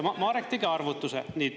Marek tegi arvutuse.